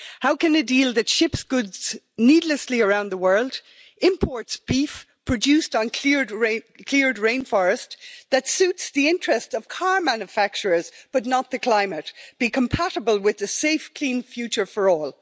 How can a deal that ships goods needlessly around the world, imports beef produced on cleared rainforest, that suits the interest of car manufacturers but not the climate, be compatible with the safe, clean future for all?